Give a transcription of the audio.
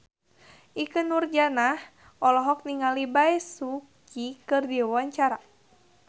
Ikke Nurjanah olohok ningali Bae Su Ji keur diwawancara